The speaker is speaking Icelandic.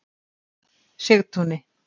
Sigtúni